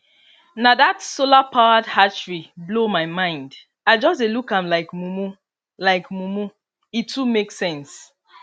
na that solarpowered hatchery blow my mind i just dey look am like mumu like mumu e too make sense